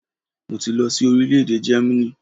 Mo ti lọ sí orílẹ̀-èdè Jẹ́mánì